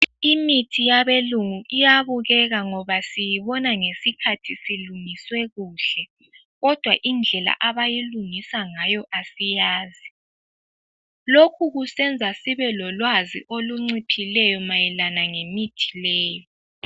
Imithi yabelungu iyabukeka ngoba siyibona ngesikhathi isilungiswe kuhle, kodwa indlela abayilungisa ngayo asiyazi. Lokhu kusenza sibelolwazi olunciphileyo mayelana ngemithi leyi.